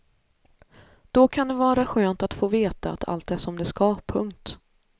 Då kan det var skönt att få vet att allt är som det ska. punkt